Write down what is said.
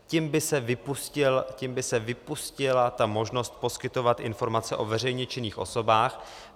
Tím by se vypustila ta možnost poskytovat informace o veřejně činných osobách.